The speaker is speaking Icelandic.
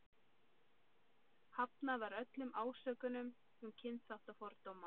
Hafnað var öllum ásökunum um kynþáttafordóma.